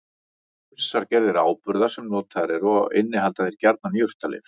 Til eru ýmsar gerðir áburða sem notaðir eru og innihalda þeir gjarnan jurtalyf.